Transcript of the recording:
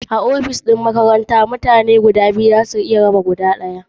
A ofis ɗin makaranta mutane biyu za su iya raba guda ɗaya.